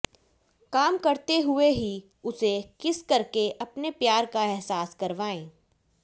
काम करते हुए ही उसे किस करके अपने प्यार का अहसास करवाएं